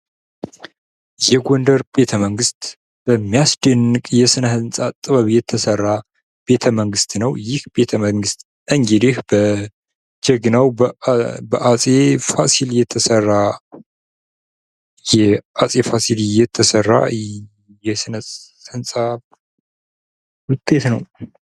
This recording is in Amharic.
የጎንደር ቤተመንግስት በሚያስደንቅ የስነ-ሕንፃ ጥበብ የተሰራ ቤተመንግስት ነዉ። ይህ ቤተመንግስት እንግዲህ በጀግናዉ በአፄ ፋሲል የተሰራ የስነ-ሕንፃ ዉጤት ነዉ።